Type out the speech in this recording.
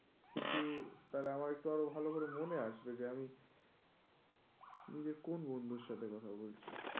কিন্তু তাহলে আমার একটু ভালো করে মনে আসবে. যে আমি নিজের কোন বন্ধুর সাথে কথা বলছি?